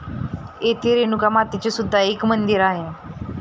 तेथे रेणुका मातेचे सुद्धा एक मंदिर आहे.